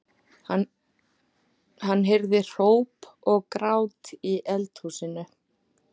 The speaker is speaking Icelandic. Hann heyrði hróp og grát í eldhúsinu.